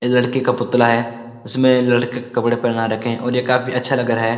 ये लड़के का पुतला है उसमें लड़के के कपड़े पहना रखे हैं और ये काफी अच्‍छा लग रहा है।